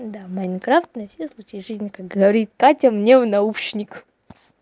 да майнкрафт на все случаи жизни как говорит катя мне в наушник